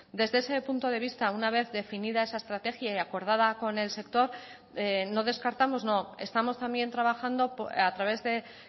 desde ese punto de vista una vez definida esa estrategia y acordada con el sector no descartamos no estamos también trabajando a través de